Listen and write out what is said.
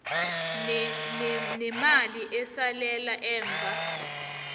nemali esalela emva